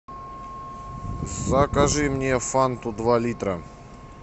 закажи мне фанту два литра